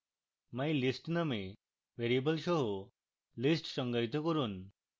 mylist নামক variable সহ list সংজ্ঞায়িত করুন